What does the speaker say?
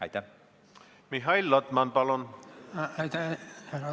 Aitäh, härra eesistuja!